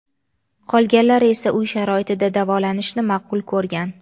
Qolganlari esa uy sharoitida davolanishni ma’qul ko‘rgan.